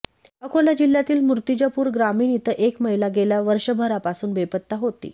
अकोला जिल्ह्यातील मूर्तिजापूर ग्रामीण इथं एक महिला गेल्या वर्षगरापासून बेपत्ता होती